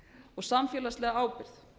og samfélagsleg ábyrgð